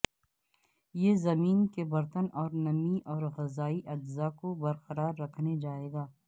یہ زمین کے برتن میں نمی اور غذائی اجزاء کو برقرار رکھنے جائے گا